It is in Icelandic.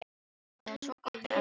Það er svo gott að elska þig.